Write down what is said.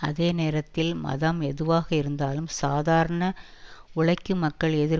அதேநேரத்தில் மதம் எதுவாகயிருந்தாலும் சாதாரண உழைக்கும் மக்கள் எதிர்